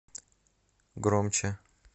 громче